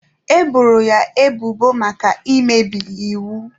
E boro ya ebubo maka imebi iwu.